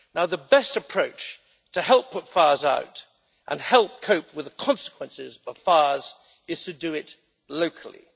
The best approach to help put fires out and help cope with the consequences of fires is to do it locally.